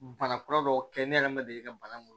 Bana kura dɔw kɛ ne yɛrɛ ma deli ka banaw